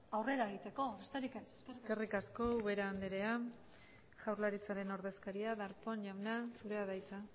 aurrera egiteko besterik ez eskerrik asko ubera andrea jaurlaritzaren ordezkaria darpón jauna zurea da hitza